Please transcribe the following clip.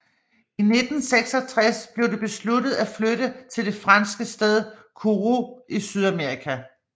I 1966 blev det besluttet at flytte til det franske sted Kourou i Sydamerika